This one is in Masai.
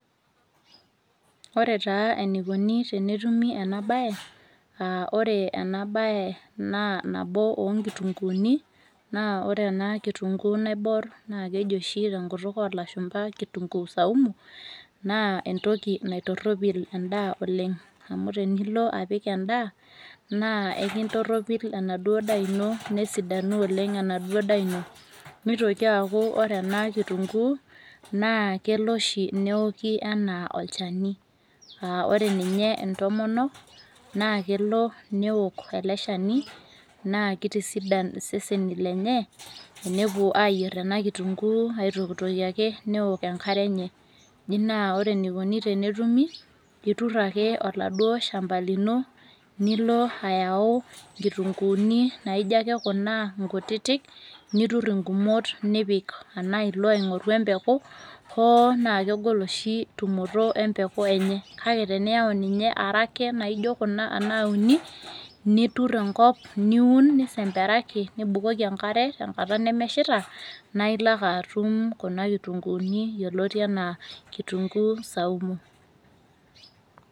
Ore taa enikuni tenetumi enabae, ah ore enabae naa nabo onkitunkuuni, na ore ena kitunkuu naibor, naa keji oshi tenkutuk olashumpa kitunkuu saumu, naa entoki naitorropil endaa oleng. Amu tenilo apik endaa, naa enkintorropil enaduo daa ino, nesidanu oleng enaduo daa ino. Nitoki aku ore ena kitunkuu, naa kelo oshi neoki enaa olchani. Ah ore ninye intomonok, naa kelo neok ele shani, naa kitisidan iseseni lenye, enepuo ayier ena kitunkuu aitokitokie ake, neok enkare enye. Ji naa ore enikoni tenetumi, itur ake oladuo shamba lino, nilo ayau nkitunkuuni naijo ake kuna inkutitik, nitur igumot nipik. Enaa ilo aing'oru empeku, hoo naa kegol oshi tumoto empeku enye. Kake teniyau ninye arake naijo kuna anaa uni, nitur enkop niun nisemperaki, nibukoki enkare tenkata nemeshita, naa ilo ake atum kuna kitunkuuni yioloti enaa kitunkuu saumu.